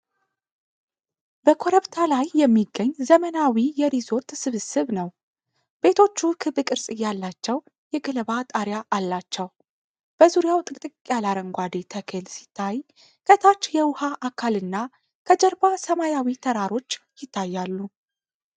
በኮረብታ ላይ የሚገኝ ዘመናዊ የሪዞርት ስብስብ ነው። ቤቶቹ ክብ ቅርጽ ያላቸው የገለባ ጣሪያ አላቸው። በዙሪያው ጥቅጥቅ ያለ አረንጓዴ ተክል ሲታይ ከታች የውሃ አካልና ከጀርባ ሰማያዊ ተራሮች ይታያሉ።